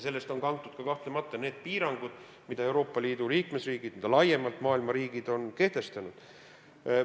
Sellest on kahtlemata kantud ka need piirangud, mida Euroopa Liidu riigid ja maailma riigid laiemalt on kehtestanud.